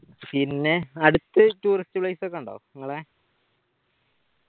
പിന്നെ അടുത്ത് tourist place ഒക്കെ ഇണ്ടോ ഇങ്ങളെ